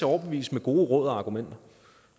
overbevise med gode råd og argumenter